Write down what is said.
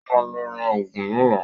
Ó ma lọ ra ògùn lọ́la